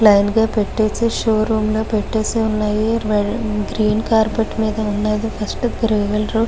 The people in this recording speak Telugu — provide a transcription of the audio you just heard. లైన్ గ పెట్టేసి షో రూమ్ లో పెట్టేసి వున్నది గ్రీన్ కార్పెట్ మేధా వున్నది ఫస్ట్ త్రి వీలర్ .